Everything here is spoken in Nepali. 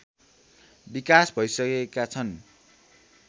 विकास भइसकेका छन्